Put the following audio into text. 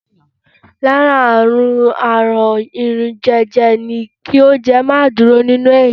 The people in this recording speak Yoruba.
Lára àmì àrùn jẹjẹrẹ ni kí oúnjẹ má dúró nínú ènìyàn.